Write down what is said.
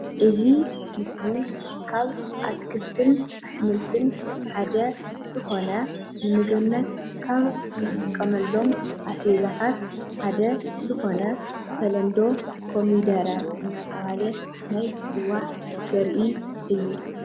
እዚ ምስሊ ካብ ኣትክልትን ኣሕምልትን ሓደ ዝኮነ ንምግብነት ካብ እንጥቀመሎም ኣስበይዛታት ሓደ ዝኮነ ብተለምዶ ኮሚደረ እናተባሃለ ናይ ዝፅዋዕ ዘርኢ እዩ፡፡